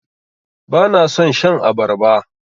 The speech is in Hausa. Bana son shan abarba.